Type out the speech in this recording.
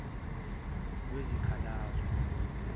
lwezikhalazo